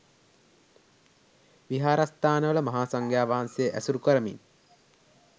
විහාරස්ථානවල මහා සංඝයා වහන්සේ ඇසුරු කරමින්